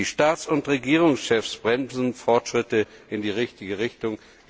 Die Staats und Regierungschefs bremsen Fortschritte in die richtige Richtung.